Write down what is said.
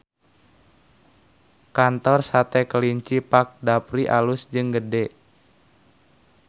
Kantor Sate Kelinci Pak Dapri alus jeung gede